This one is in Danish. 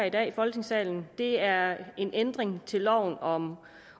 i dag i folketingssalen er en ændring til loven om